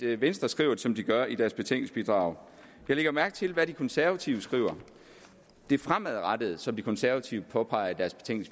venstre skriver som de gør i deres betænkningsbidrag jeg lægger mærke til hvad de konservative skriver det fremadrettede som de konservative påpeger